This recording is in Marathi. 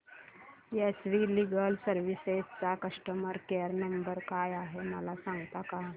एस वी लीगल सर्विसेस चा कस्टमर केयर नंबर काय आहे मला सांगता का